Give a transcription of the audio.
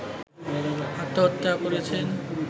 আত্মহত্যা করেছেন